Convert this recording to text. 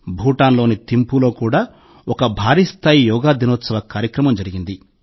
భూటాన్లోని థింఫులో కూడా ఒక భారీ స్థాయి యోగా దినోత్సవ కార్యక్రమం జరిగింది